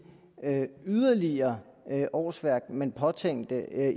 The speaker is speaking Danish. yderligere årsværk man påtænkte at